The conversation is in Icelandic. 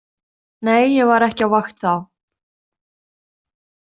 Nei, ég var ekki á vakt þá.